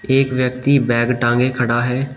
एक व्यक्ति बैग टांगे खड़ा है।